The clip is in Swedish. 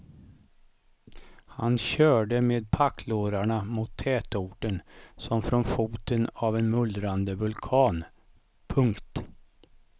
Han körde med packlårarna mot tätorten som från foten av en mullrande vulkan. punkt